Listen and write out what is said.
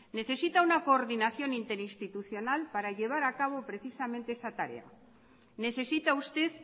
necesita una coordinación interinstitucional para llevar a cabo precisamente esa tarea necesita usted